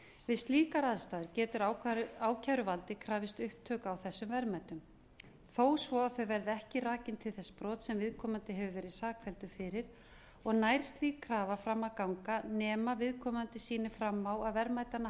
við slíkar aðstæður getur ákæruvaldið krafist upptöku á þessum verðmætum þó svo að þau verði ekki rakin til þess brots sem viðkomandi hefur verið sakfelldur fyrir og nær slík krafa fram að ganga nema viðkomandi sýni fram á að verðmætanna